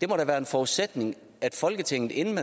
det må da være en forudsætning at folketinget inden